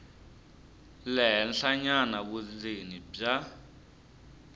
le henhlanyana vundzeni bya